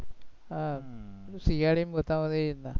હમ serial ઉમા બતાવે એ રીતના